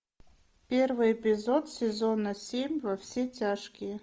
первый эпизод сезона семь во все тяжкие